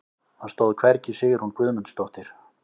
Það stóð hvergi Sigrún Guðmundsdóttir.